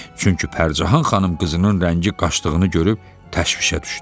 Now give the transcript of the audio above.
Çünki Pərcahan xanım qızının rəngi qaçdığını görüb təşvişə düşdü.